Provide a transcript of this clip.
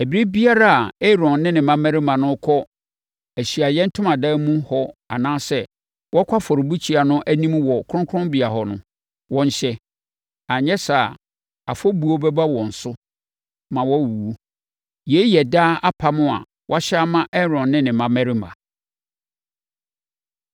Ɛberɛ biara a Aaron ne ne mmammarima no rekɔ Ahyiaeɛ Ntomadan mu hɔ anaasɛ wɔrekɔ afɔrebukyia no anim wɔ kronkronbea hɔ no, wɔnhyɛ. Anyɛ saa a, afɔbuo bɛba wɔn so ma wɔawuwu. “Yei yɛ daa apam a wɔahyɛ ama Aaron ne ne mmammarima.